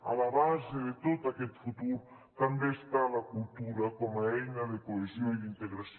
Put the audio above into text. a la base de tot aquest futur també està la cultura com a eina de cohesió i d’integració